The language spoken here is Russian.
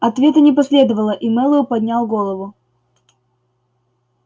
ответа не последовало и мэллоу поднял голову